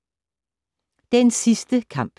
Den sidste kamp